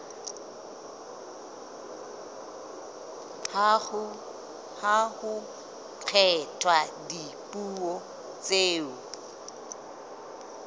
ha ho kgethwa dipuo tseo